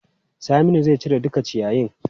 Saminu zai cire duka ciyayin.